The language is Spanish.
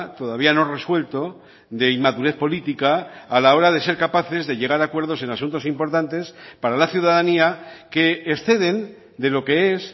todavía no resuelto de inmadurez política a la hora de ser capaces de llegar a acuerdos en asuntos importantes para la ciudadanía que exceden de lo que es